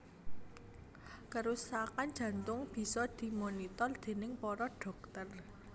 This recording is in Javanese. Kerusakan jantung bisa dimonitor déning para dhokter